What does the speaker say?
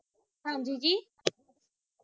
ਹਾਂਜੀ ਜੀ